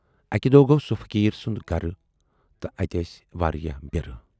اکہِ دۅہ گَو سُہ فقیٖر سُند گَرٕ تہٕ اتہِ ٲس واریاہ بِرٕ۔